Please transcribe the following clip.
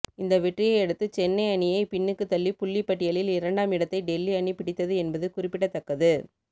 இந்த வெற்றியை அடுத்து சென்னை அணியை பின்னுக்கு தள்ளி புள்ளிப்பட்டியலில் இரண்டாம் இடத்தை டெல்லி அணி பிடித்தது என்பது குறிப்பிடத்தக்கது